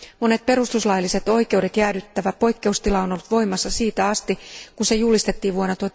Monet perustuslailliset oikeudet jäädyttävä poikkeustila on ollut voimassa siitä asti, kun se julistettiin vuonna